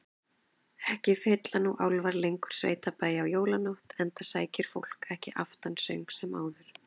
Ekki fylla nú álfar lengur sveitabæi á jólanótt, enda sækir fólk ekki aftansöng sem áður.